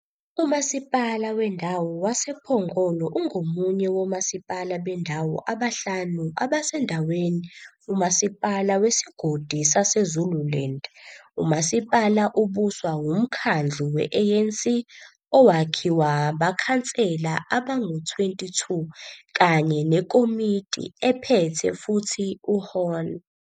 UMasipala Wendawo wasePhongolo ungomunye womasipala bendawo abahlanu abasendaweni UMasipala Wesigodi saseZululand. Umasipala ubuswa uMkhandlu we-ANC owakhiwa Abakhansela abangu-22 kanye nekomiti ephethe futhi uHon.